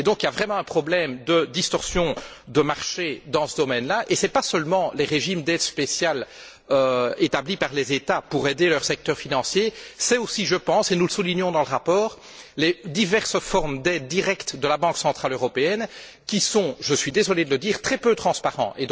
Il y a donc vraiment un problème de distorsion de marché dans ce domaine là, et il ne s'agit pas seulement des régimes d'aide spéciale établis par les États pour aider leur secteur financier, mais aussi, et nous le soulignons dans le rapport, des diverses formes d'aides directes de la Banque centrale européenne qui sont je suis désolé de le dire très peu transparentes.